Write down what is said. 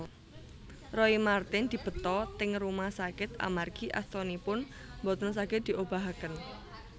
Roy Marten dibeta teng rumah sakit amargi astanipun mboten saget diobahaken